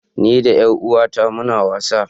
Ni da yaruwata muna wasa.